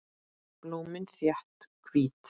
Blómin þétt, hvít.